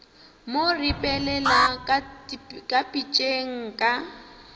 mo ripelela ka pitšeng ka